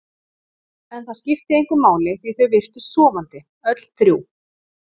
En það skipti engu máli því þau virtust sofandi, öll þrjú.